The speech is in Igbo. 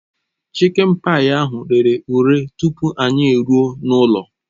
Chikịn payi ahụ rere ure tupu anyị eruo n'ụlọ